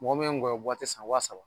Mɔgɔ min ye ŋɔyɔ san wa saba